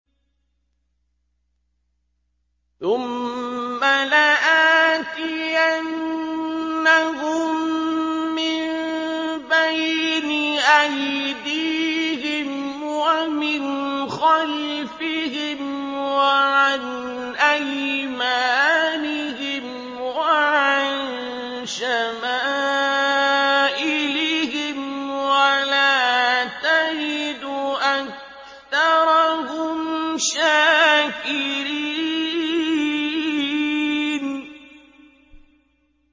ثُمَّ لَآتِيَنَّهُم مِّن بَيْنِ أَيْدِيهِمْ وَمِنْ خَلْفِهِمْ وَعَنْ أَيْمَانِهِمْ وَعَن شَمَائِلِهِمْ ۖ وَلَا تَجِدُ أَكْثَرَهُمْ شَاكِرِينَ